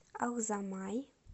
алзамай